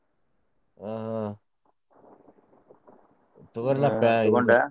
ಹ್ಮ್.